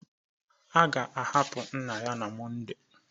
A ga-ahapụ nna ya na Moday